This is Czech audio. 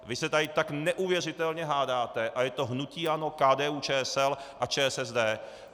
Vy se tady tak neuvěřitelně hádáte a je to hnutí ANO, KDU-ČSL a ČSSD.